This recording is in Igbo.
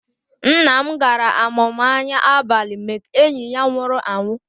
Nna m gara amụma anya abalị Make enyi ya nwụrụ anwụ